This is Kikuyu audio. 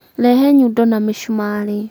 rehe nyundo na mĩcumarĩ